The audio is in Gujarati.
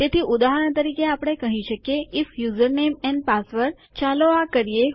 તેથી ઉદાહરણ તરીકે આપણે કહી શકીએ આઇએફ યુઝરનેમ એન્ડ પાસવર્ડ ચાલો આ કરીએ